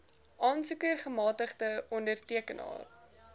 aansoeker gemagtigde ondertekenaar